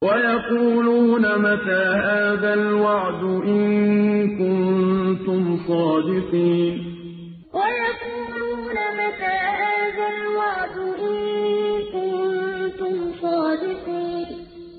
وَيَقُولُونَ مَتَىٰ هَٰذَا الْوَعْدُ إِن كُنتُمْ صَادِقِينَ وَيَقُولُونَ مَتَىٰ هَٰذَا الْوَعْدُ إِن كُنتُمْ صَادِقِينَ